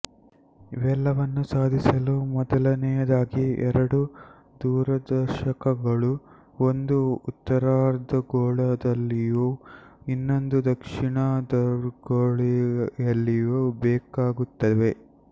ಇವೆಲ್ಲವನ್ನೂ ಸಾಧಿಸಲು ಮೊದಲನೆಯದಾಗಿ ಎರಡು ದೂರದರ್ಶಕಗಳು ಒಂದು ಉತ್ತರಾರ್ಧ ಗೋಳದಲ್ಲಿಯೂ ಇನ್ನೊಂದು ದಕ್ಷಿಣಾರ್ಧಗೋಳದಲ್ಲಿಯೂ ಬೇಕಾಗುತ್ತವೆ